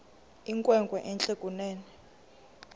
inkwenkwe entle kunene